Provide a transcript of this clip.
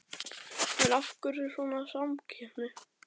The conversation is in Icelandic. En af hverju svona samkeppni?